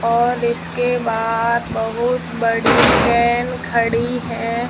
और इसके बाहर बहुत बड़ी खड़ी है।